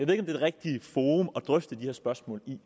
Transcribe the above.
det er det rigtige forum at drøfte de her spørgsmål i